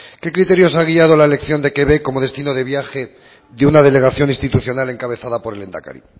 qué criterios ha guiado la lección de quebec como destino de viaje de una delegación institucional encabezada por el lehendakari